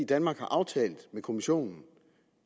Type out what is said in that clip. danmark har aftalt med kommissionen